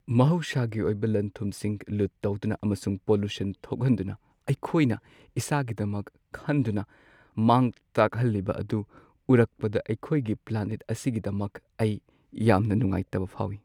ꯃꯍꯧꯁꯥꯒꯤ ꯑꯣꯏꯕ ꯂꯟ-ꯊꯨꯝꯁꯤꯡ ꯂꯨꯠ ꯇꯧꯗꯨꯅ ꯑꯃꯁꯨꯡ ꯄꯣꯂꯨꯁꯟ ꯊꯣꯛꯍꯟꯗꯨꯅ ꯑꯩꯈꯣꯏꯅ ꯏꯁꯥꯒꯤꯗꯃꯛ ꯈꯟꯗꯨꯅ ꯃꯥꯡ ꯇꯥꯛꯍꯜꯂꯤꯕ ꯑꯗꯨ ꯎꯔꯛꯄꯗ ꯑꯩꯈꯣꯏꯒꯤ ꯄ꯭ꯂꯥꯅꯦꯠ ꯑꯁꯤꯒꯤꯗꯃꯛ ꯑꯩ ꯌꯥꯝꯅ ꯅꯨꯡꯉꯥꯏꯇꯕ ꯐꯥꯎꯏ ꯫